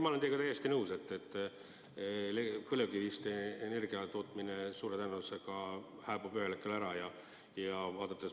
Ma olen teiega täiesti nõus, et põlevkivist energia tootmine suure tõenäosusega hääbub ühel hetkel ära.